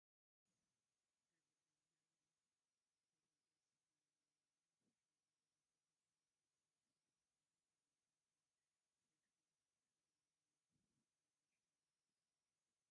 ጋዜጠኛ ናይ ኢቢኤስ ዝኮነ ናይ ባዕሉ ሸው ዘለዎ ጋዜጠና ሰይፉ ፋንታሁን እዩ ። ካብቶም ሰይፉ ተከዲንዎም ዘሎ ሸሚዝ እንታይ ሕብሩ ?